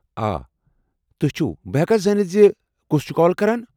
آ ۔ تُہۍ چھِو ۔ بہٕ ہٮ۪كا زٲنِتھ زِ كُس چھُ كال كران ؟